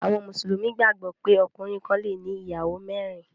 Àwọn Mùsùlùmí gbàgbó pé ọkùnrin kán le ní ìyàwó mérin.